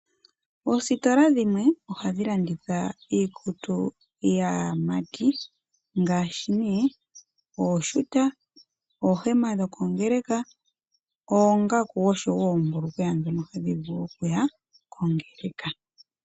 Oositola dhimwe oha dhi landitha iikutu yaamati ngaashi nee ooshuta, oohema dho kongeleka, oongaku oshowo oombulukweya dhono hadhi vulu okuya kongeleka.